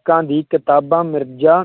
ਲੇਖਕਾਂ ਦੀ ਕਿਤਾਬਾਂ ਮਿਰਜ਼ਾ